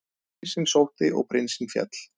Prinsinn sótti og prinsinn féll.